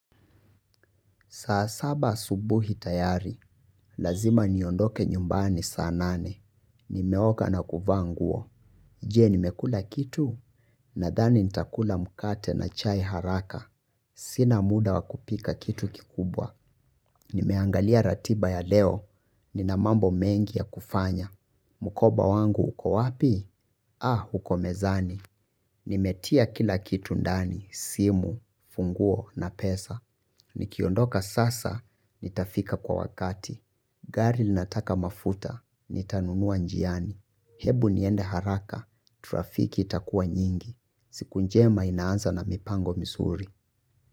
Saa saba asubuhi tayari. Lazima niondoke nyumbani saa nane. Nimeoga na kuvaa nguo. Je nimekula kitu? Nadhani nitakula mkate na chai haraka. Sina muda wakupika kitu kikubwa. Nimeangalia ratiba ya leo. Nina mambo mengi ya kufanya. Mkoba wangu uko wapi? Ah, uko mezani. Nimetia kila kitu ndani, simu, funguo na pesa. Nikiondoka sasa, nitafika kwa wakati. Garil linataka mafuta, nitanunua njiani. Hebu niende haraka, trafiki itakuwa nyingi. Siku njema inaanza na mipango mizuri.